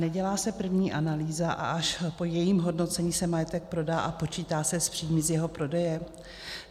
Nedělá se první analýza, a až po jejím hodnocení se majetek prodá a počítá se s příjmy z jeho prodeje?